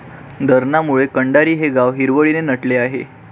धरणामुळे कंडारी हे गाव हिरवळीने नटले आहे.